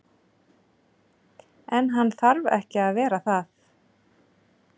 En hann þarf ekki að vera það.